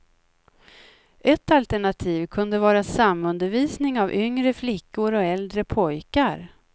Ett alternativ kunde vara samundervisning av yngre flickor och äldre pojkar.